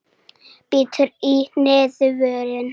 Bítur í neðri vörina.